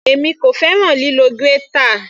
Èmi kò fẹ́ràn lílo grater.